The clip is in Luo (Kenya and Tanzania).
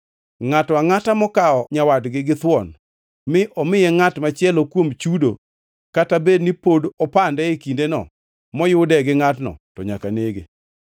“Ngʼato angʼata mokawo nyawadgi githuon mi omiye ngʼat machielo kuom chudo kata bed ni pod opande e kindeno moyude gi ngʼatno, to nyaka nege.